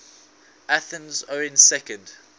athenians owning second